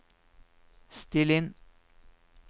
still inn